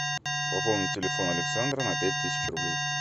пополнить телефон александра на пять тысяч рублей